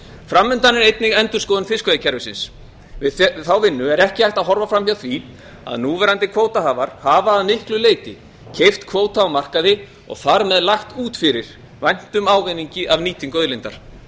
framundan er einnig endurskoðun fiskveiðikerfisins við þá vinnu er ekki hægt að horfa framhjá því að núverandi kvótahafar hafa að miklu leyti keypt kvóta á markaði og þar með lagt út fyrir væntum ávinningi af nýtingu auðlindar